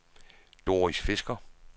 Doris Fisker